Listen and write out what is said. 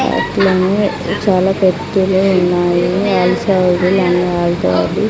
అన్నీ చాలా ఉన్నాయి అవి సైజులన్నీ వాల్ తోటి--